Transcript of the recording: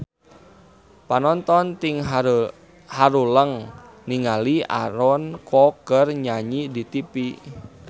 Panonton ting haruleng ningali Aaron Kwok keur nyanyi di tipi